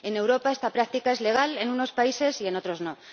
En Europa, esta práctica es legal en unos países y en otros no.